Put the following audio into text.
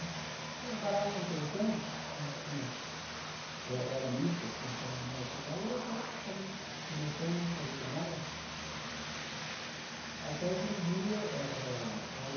Eu morava numa pensão, e tinha eh era mista, tinha até uma moça lá, e eu até estava começando a sair com ela, até que um dia eh eh ela...